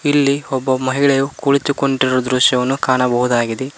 ಇಲ್ಲಿ ಒಬ್ಬ ಮಹಿಳೆಯು ಕುಳಿತುಕೊಂಡಿರುವ ದೃಶ್ಯವನ್ನು ಕಾಣಬಹುದಾಗಿದೆ.